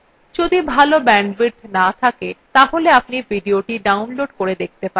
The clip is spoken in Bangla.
যদি ভাল bandwidth না থাকে তাহলে আপনি ভিডিওটি download করে দেখতে পারেন